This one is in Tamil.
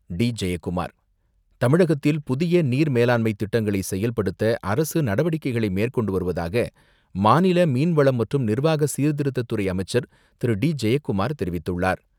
டி.ஜெயக்குமார் தமிழகத்தில் புதிய நீர் மேலாண்மைத் திட்டங்களை செயல்படுத்த அரசு நடவடிக்கைகளை மேற்கொண்டு வருவதாக மாநில மீன்வளம் மற்றும் நிர்வாக சீர்த்திருத்தத்துறை அமைச்சர் திரு.டி.ஜெயக்குமார் தெரிவித்துள்ளார்.